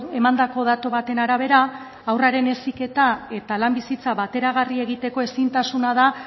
emandako datu baten arabera haurraren heziketa eta lan bizitza bateragarria egiteko ezintasuna da